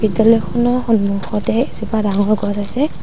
Telephone ৰ সন্মুখতে এজোপা ডাঙৰ গছ আছে।